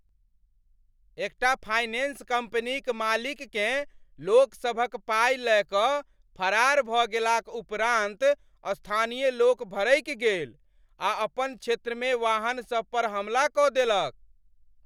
एकटा फाइनेंस कम्पनीक मालिककेँ लोकसभक पाइ लय कऽ फरार भऽ गेलाक उपरान्त स्थानीय लोक भड़कि गेल आ अपन क्षेत्रमे वाहनसभ पर हमला कऽ देलक।